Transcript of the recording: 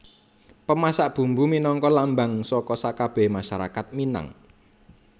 Pemasak Bumbu minangka lambang saka sakabèhé masyarakat Minang